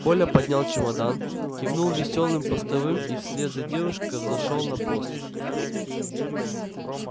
коля поднял чемодан кивнул весёлым постовым и вслед за девушкой взошёл на мост